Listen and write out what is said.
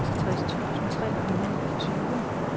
seksogtres tusind tre hundrede og tyve